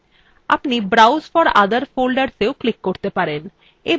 আপনি browse for other foldersyou click করতে পারেন